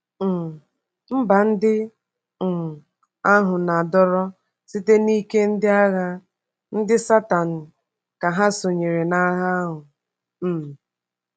um Mba ndị um ahụ na-adọrọ site n’ike ndị agha ndị Satani ka ha sonyere n’agha ahụ. um